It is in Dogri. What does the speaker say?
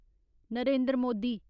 नरेंद्र मोदी